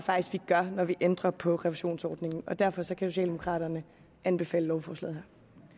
vi gør når vi ændrer på refusionsordningen derfor kan socialdemokraterne anbefale lovforslaget